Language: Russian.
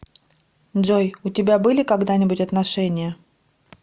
джой у тебя были когда нибудь отношения